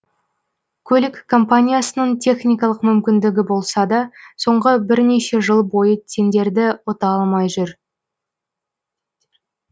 көлік компаниясының техникалық мүмкіндігі болса да соңғы бірнеше жыл бойы тендерді ұта алмай жүр